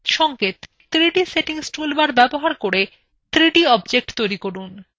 সংকেত: 3d settings toolbar ব্যবহার করে 3d objects তৈরী করুন